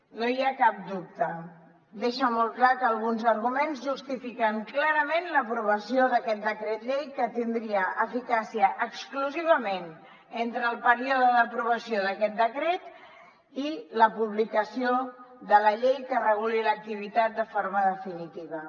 no hi ha cap dubte deixa molt clar que alguns arguments justifiquen clarament l’aprovació d’aquest decret llei que tindria eficàcia exclusivament entre el període d’aprovació d’aquest decret i la publicació de la llei que reguli l’activitat de forma definitiva